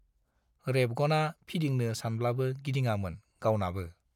रेबगना फिदिंनो सानब्लाबो गिदिङामोन गावनाबो।